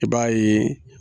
I baa ye